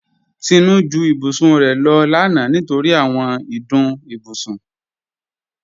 Tinú ju ìbùsùn rẹ̀ lọ lána nítorí àwọn ìdùn ìbùsùn.